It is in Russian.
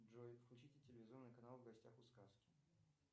джой включите телевизионный канал в гостях у сказки